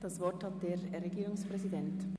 Das Wort hat der Regierungspräsident.